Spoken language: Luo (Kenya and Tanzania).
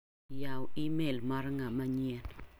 Yaw imel mar ng'ama nyien .